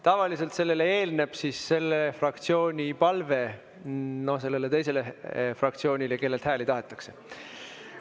Tavaliselt sellele eelneb selle fraktsiooni palve sellele teisele fraktsioonile, kellelt hääli tahetakse.